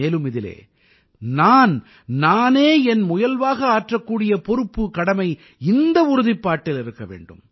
மேலும் இதில் நான் நானே என் முயல்வாக ஆற்றக்கூடிய பொறுப்புகடமை இந்த உறுதிப்பாட்டில் இருக்க வேண்டும்